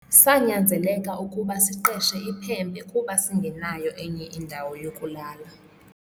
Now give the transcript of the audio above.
Sanyanzeleka ukuba siqeshe iphempe kuba singenayo enye indawo yokulala.